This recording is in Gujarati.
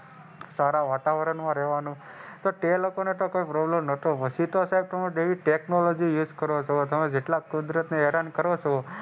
સારા વાતાવરણ માં રહેવાનું તો તે લોકો ને તો કોઈ પ્રોબ્લેમ નહોતું તો પછી તો સાહેબ તમે જેવી ટેકનોલોજી નો યુઝ કરો તમે જેટલા કુદરત ને હેરાન કરો છો.